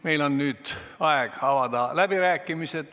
Meil on nüüd aeg avada läbirääkimised.